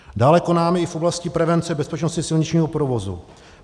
Dále konáme i v oblasti prevence bezpečnosti silničního provozu.